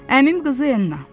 Əmim qızı Enna.